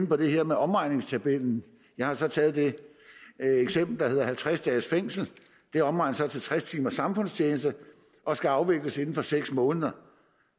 på det her med omregningstabellen jeg har taget det eksempel der hedder halvtreds dages fængsel det omregnes så til tres timers samfundstjeneste og skal afvikles inden for seks måneder